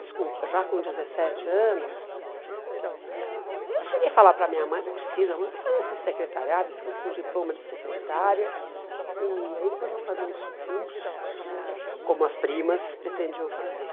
Desculpa, já com dezessete anos, ah eu cheguei a falar para minha mãe, não precisa mãe, vou fazer esse secretariado, fico com diploma de secretária, e aí depois vou fazer uns cursos, como as primas pretendiam fazer.